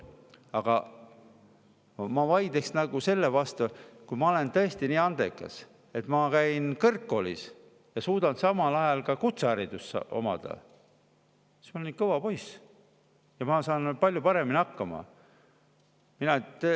Aga ma vaidleks sellele vastu, et kui ma olen tõesti nii andekas, et ma käin kõrgkoolis ja suudan samal ajal ka kutsehariduse omandada, olen kõva poiss ja saan palju paremini hakkama …